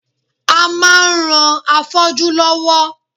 A máa ran afọ́jú lọ́wọ́